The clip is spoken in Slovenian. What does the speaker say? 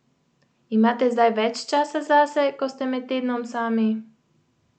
Imate zdaj več časa zase, ko ste med tednom sami?